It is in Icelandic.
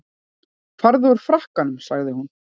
Farðu úr frakkanum sagði hún.